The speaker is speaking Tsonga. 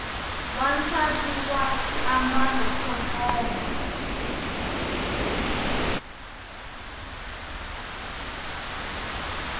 wansati na swiambalo swo koma